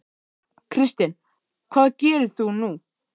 Kristinn: Hvað gerir þú nú?